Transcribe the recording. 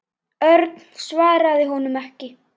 Örn svaraði honum ekki.